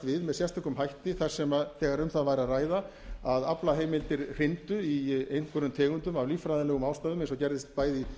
við með sérstökum hætti þegar um það væri að ræða að aflaheimildir hryndu í einhverjum tegundum af líffræðilegum ástæðum eins og gerðist bæði